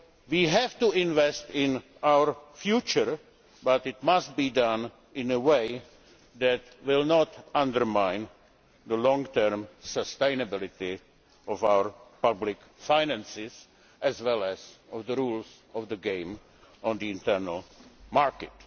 We have to invest in our future, but it must be done in a way that will not undermine the long term sustainability of our public finances or the rules of the game on the internal market.